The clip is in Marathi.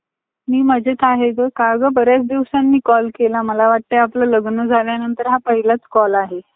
ते row material म्हणजे आपुन ते गाया-गुरं आपले जे शेतकरी बांधव असतात. ते आपल्या गाया-गुरांला शेंगदाणा पेंड, पोळीपेंड त ते